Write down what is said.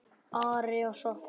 Ari og Soffía.